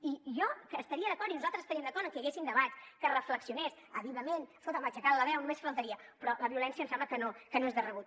i jo estaria d’acord i nosaltres estaríem d’acord en què hi hagués un debat que s’hi reflexionés àvidament escolta’m o aixecant la veu només faltaria però la violència em sembla que no és de rebut